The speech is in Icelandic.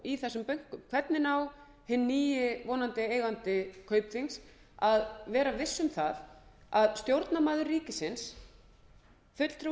manna stjórn hvernig á hinn nýi vonandi eigandi kaupþings að vera viss um að stjórnarmaður ríkisins fulltrúi